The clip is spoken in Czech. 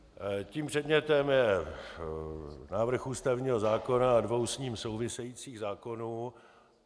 Tím předmětem je návrh ústavního zákona a dvou s ním souvisejících zákonů.